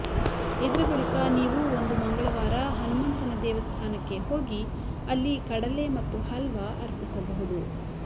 ಇದರ ಬಳಿಕ ನೀವು ಒಂದು ಮಂಗಳವಾರ ಹನುಮಂತನ ದೇವಸ್ಥಾನಕ್ಕೆ ಹೋಗಿ ಅಲ್ಲಿ ಕಡಲೆ ಮತ್ತು ಹಲ್ವಾ ಅರ್ಪಿಸಬಹುದು